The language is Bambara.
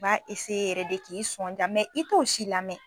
B'a yɛrɛ de k'i sɔnja i t'o si lamɛn.